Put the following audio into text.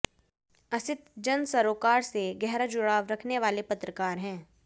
असित जन सरोकार से गहरा जुड़ाव रखने वाले पत्रकार हैं